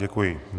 Děkuji.